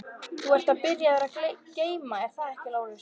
Þú ert byrjaður að geyma, er það ekki Lási?